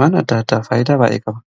waan adda addaa faayidaa baa'ee qaba.